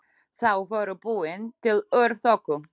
Þau voru búin til úr þoku.